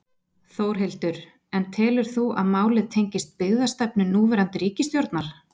Þórhildur: En telur þú að málið tengist byggðastefnu núverandi ríkisstjórnar?